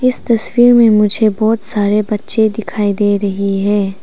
इस तस्वीर में मुझे बहुत सारे बच्चे दिखाई दे रही है।